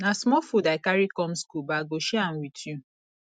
na small food i carry come skool but i go share am wit you